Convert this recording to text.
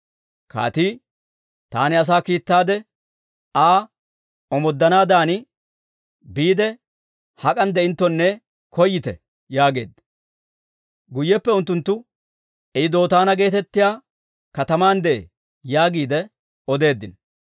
Kaatii, «Taani asaa kiittaade Aa omooddanaadan, biide hak'an de'inttonne koyyite» yaageedda. Guyyeppe unttunttu, «I Dootaana geetettiyaa kataman de'ee» yaagiide odeeddino.